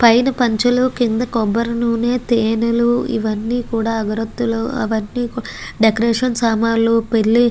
పైన పంచలు కింద కొబ్బరీ నూనె తేనెలు ఇవన్నీ కూడా అగరత్తులు అవన్నీ కూడ డెకరేషన్ సామన్లు పెళ్లి --